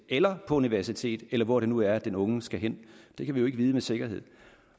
eller på universitet eller hvor det nu er den unge skal hen det kan vi jo ikke vide med sikkerhed